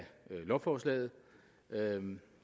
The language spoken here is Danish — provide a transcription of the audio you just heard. af lovforslaget